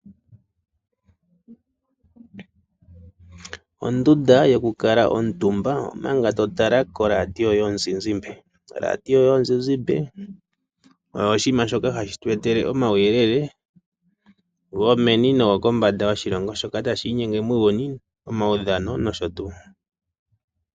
Ondunda yokukala omutumba omanga to tala ko radio yomuzizimbe. Oradio yomuzizimbe oyo oshinima shoka ha shi tu etele omawuyelele go meni nogokombanda yoshilongo, shoka tashi inyenge muuyuni, omawudhano nosho tuu.